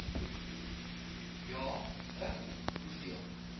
ja i hoeveel